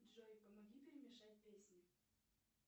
джой помоги перемешать песни